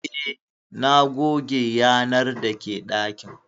Eh, na goge yanar dake dakin